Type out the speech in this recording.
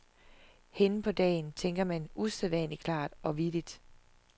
Hen på dagen tænker man usædvanlig klart og vittigt.